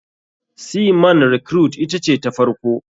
Sea man recruite ita ce ta farko.